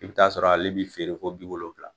I bɛ t'a sɔrɔ ale bɛ feere fɔ bi wolonwula.